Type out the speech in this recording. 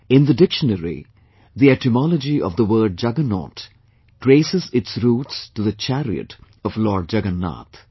In the dictionary, the etymology of the word 'juggernaut' traces its roots to the chariot of Lord Jagannath